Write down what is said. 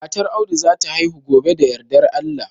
Matar Audu za ta haihu gobe da yardar Allah